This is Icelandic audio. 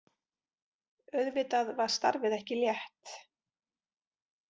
Auðvitað var starfið ekki létt.